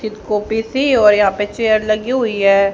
Copy सी और यहां पे चेयर लगी हुई है।